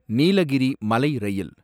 நீலகிரி மலை ரயில்